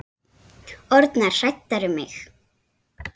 Orðnar hræddar um mig.